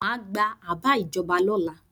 Má gba àbá ìjọba lọ́la.